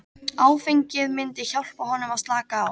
Áfengið myndi hjálpa honum að slaka á.